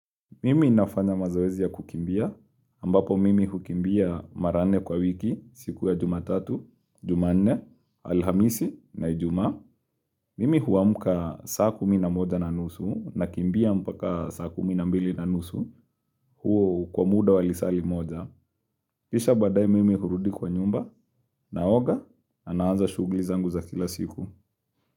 Mimi nafanya mazoezi ya kukimbia, ambapo mimi hukimbia mara nne kwa wiki, siku ya jumatatu, jumanne, alhamisi, na ijumaa. Mimi huamuka saa kumi na moja na nusu, nakimbia mpaka saa kumi na mbili na nusu, huo kwa muda walisaa limoja. Kisha baadae mimi hurudi kwa nyumba, naoga, na naanza shughuli zangu za kila siku.